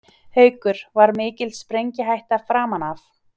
Haukur: Var mikil sprengihætta framan af?